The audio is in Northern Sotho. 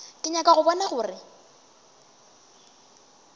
ke nyaka go bona gore